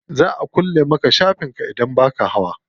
Za a kulle maka shafin ka idan baka hawa.